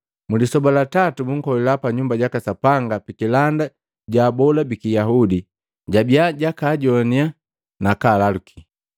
Mlisoba la tatu, bunkolila pa Nyumba jaka Sapanga pikilanda ja abola biki Yahudi, jabia jakaajonnya nakaalaluki.